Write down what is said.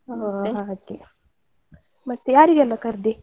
ಆಹ್ ಹಾಗೆ ಮತ್ತೆ ಯಾರಿಗೆಲ್ಲ ಕರ್ದೆ?